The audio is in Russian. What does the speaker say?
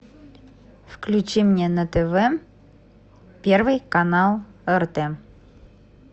включи мне на тв первый канал орт